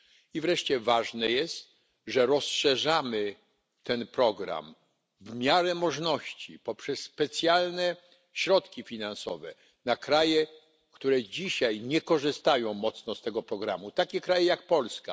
I wreszcie ważne jest, że rozszerzamy ten program w miarę możności poprzez specjalne środki finansowe na kraje, które dzisiaj nie korzystają mocno z tego programu, takie kraje jak Polska.